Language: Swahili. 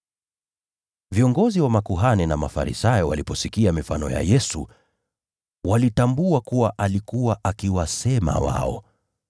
Viongozi wa Makuhani na Mafarisayo waliposikia mifano ya Yesu, walitambua kuwa alikuwa akiwasema wao.